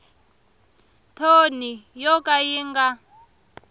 thoni yo ka yi nga